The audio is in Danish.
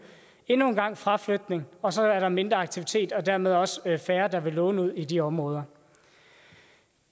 endnu en gang fraflytning og så er der mindre aktivitet og dermed også færre der vil låne ud i de områder